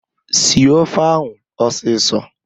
Sie ofe ahụ ọsịsọ!